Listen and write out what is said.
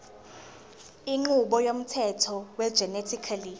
inqubo yomthetho wegenetically